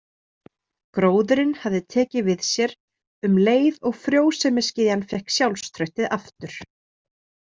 Gróðurinn hafði tekið við sér um leið og frjósemisgyðjan fékk sjálfstraustið aftur.